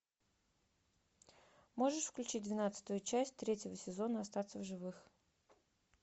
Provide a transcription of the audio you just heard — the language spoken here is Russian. можешь включить двенадцатую часть третьего сезона остаться в живых